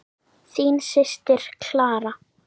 Þín systir, Clara.